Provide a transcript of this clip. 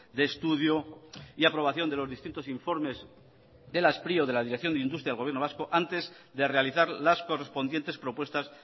de estudio y aprobación de los distintos informes de la spri o de la dirección de industria del gobierno vasco antes de realizar las correspondientes propuestas